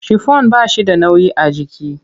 Shifon ba shi da nauyi a jiki.